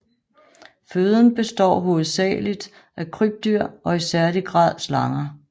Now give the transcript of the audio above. Føden består hovedsageligt af krybdyr og i særlig grad slanger